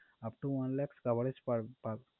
upto one lakh coverage পার~ পাব~